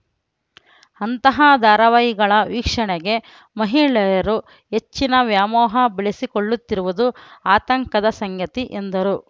ಅಂತಹ ಧಾರವಾಹಿಗಳ ವೀಕ್ಷಣೆಗೆ ಮಹಿಳೆಯರು ಹೆಚ್ಚಿನ ವ್ಯಾಮೋಹ ಬೆಳೆಸಿಕೊಳ್ಳುತ್ತಿರುವುದು ಆತಂಕದ ಸಂಗತಿ ಎಂದರು